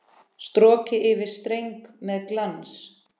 Strokið yfir streng með glans.